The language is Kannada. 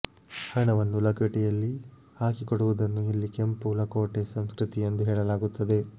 ಹಣವನ್ನು ಲಕೋಟೆಯಲ್ಲಿ ಹಾಕಿಕೊಡುವುದನ್ನು ಇಲ್ಲಿ ಕೆಂಪು ಲಕೋಟೆ ಸಂಸ್ಕೃತಿ ಎಂದು ಹೇಳಲಾಗುತ್ತದೆ